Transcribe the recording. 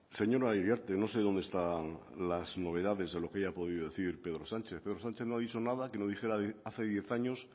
señora iriarte no sé dónde están las novedades de lo que haya podido decir pedro sánchez pedro sánchez no ha dicho nada que no dijera hace diez años